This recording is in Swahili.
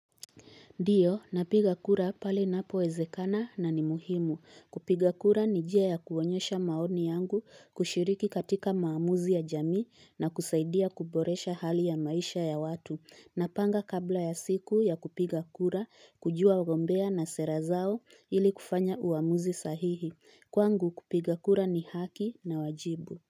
Ndiyo, napiga kura pale ninapo wezekana na ni muhimu. Kupiga kura ni njia ya kuonyesha maoni yangu kushiriki katika maamuzi ya jamii na kusaidia kuboresha hali ya maisha ya watu. Napanga kabla ya siku ya kupiga kura, kujua ugombea na sera zao ili kufanya uwamuzi sahihi. Kwangu kupiga kura ni haki na wajibu.